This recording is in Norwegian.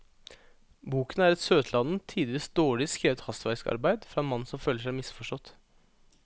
Boken er et søtladent, tidvis dårlig skrevet hastverksarbeid fra en mann som føler seg misforstått.